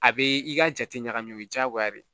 A bɛ i ka jate ɲagami o ye diyagoya de ye